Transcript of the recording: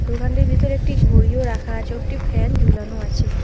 দোকানটির ভিতরে একটি ঘড়িও রাখা আছে ও একটি ফ্যান ঝুলানো আছে।